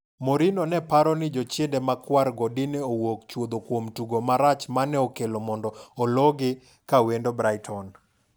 Mourinho neparo ni jochiende makwar go dine owuoke chuodhokuom tugo marach mane okelo mondo oloo gi kawendo Brighton.